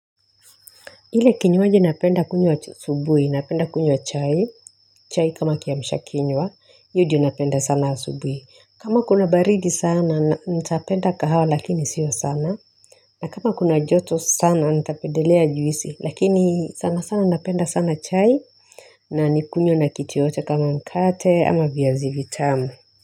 Ile kinywaji napenda kunywa wa asubuhi, napenda kunywa chai, chai kama kiamisha kinywa, hiyo ndo napenda sana asubuhi. Kama kuna baridi sana, nitapenda kahawa lakini sio sana. Na kama kuna joto sana, nitapedelea juisi, lakini sana sana napenda sana chai na nikunywe na kitu yeyote kama mkate ama via zivitamu.